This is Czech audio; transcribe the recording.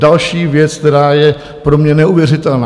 Další věc, která je pro mě neuvěřitelná.